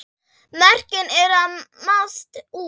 Mörkin eru að mást út.